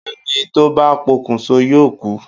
Ẹni tó bá pokùnso yóò kú.